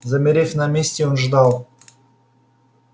замерев на месте он ждал